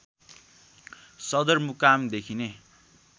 सदरमुकाम देखिने